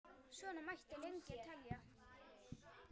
Svona mætti lengi telja.